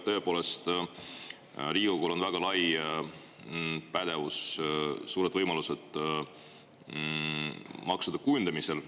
Tõepoolest, Riigikogul on väga lai pädevus, suured võimalused maksude kujundamisel.